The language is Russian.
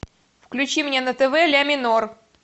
включи мне на тв ля минор